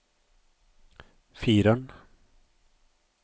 fireren